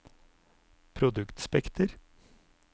produktspekter